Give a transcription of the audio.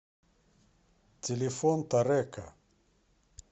телефон торэко